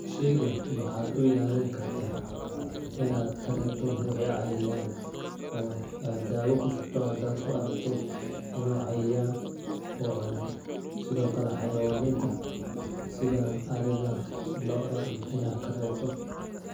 Sheygan waxaad u ilaalini kartaa inaad ka reebto ,wixi cayayaaan ah oo aad daawo ku shubto hadaad ku aragto inuu cayayaan uu cunay ,sidoo kale xayawaniinta sida ariga ,looda iyo inaad ka reebto.